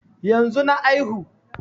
Yanzu na aihu